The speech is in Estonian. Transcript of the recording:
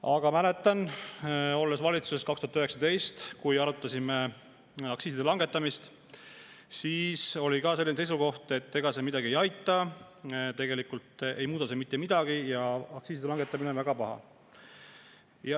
Aga mäletan ajast, kui olin ise valitsuses, 2019, et me arutasime ka siis aktsiiside langetamist ja tookord oli selline seisukoht, et ega see midagi ei aita, tegelikult ei muuda see mitte midagi ja aktsiiside langetamine on väga paha.